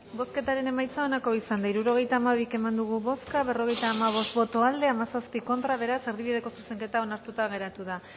bozketaren emaitza onako izan da hirurogeita hamabi eman dugu bozka berrogeita hamabost boto aldekoa diecisiete contra beraz erdibideko zuzenketa onartuta geratu da